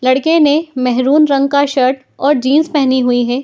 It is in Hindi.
लडके ने मेरून रंग का शर्ट और जीन्स पहनी हुई है।